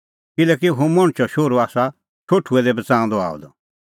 किल्हैकि हुंह मणछो शोहरू आसा शोठुऐ दै बच़ाऊंदअ आअ द